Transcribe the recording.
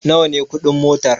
Nawa ne kuɗin motar?